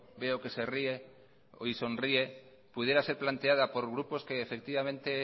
veo que sonríe pudiera ser planteada por grupos que efectivamente